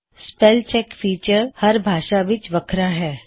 spell check feature ਹਰ ਭਾਸ਼ਾ ਵਿੱਚ ਵੱਖਰਾ ਹੈ